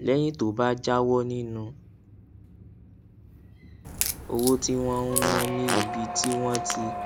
léyìn tó o bá jáwó nínú owó tí wón ń ná ní ibi tí wọn ti